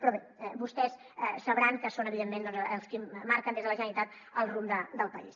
però bé vostès sabran que són evidentment els qui marquen des de la generalitat el rumb del país